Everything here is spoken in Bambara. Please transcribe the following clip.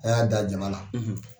A y'a da jaba la.